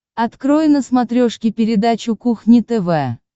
открой на смотрешке передачу кухня тв